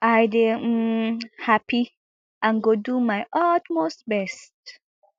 i dey um happy and go do my utmost best